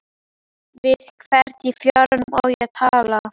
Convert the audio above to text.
Við hvern í fjáranum á ég að tala?